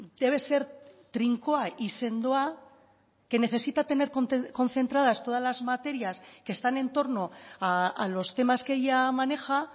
debe ser trinkoa y sendoa que necesita tener concentradas todas las materias que están en torno a los temas que ella maneja